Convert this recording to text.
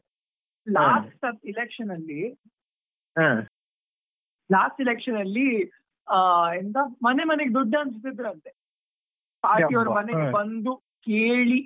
Last ಸರ್ತಿ election ಅಲ್ಲಿ last election ಅಲ್ಲಿ ಆ ಎಂತ, ಮನೆ ಮನೆಗೆ ದುಡ್ಡು ಹಂಚುತಿದ್ರಂತೆ ಅವರು ಮನೆಗೆ ಬಂದು ಕೇಳಿ.